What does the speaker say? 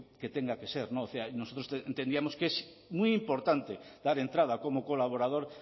que tenga que ser nosotros entendíamos que es muy importante dar entrada como colaborador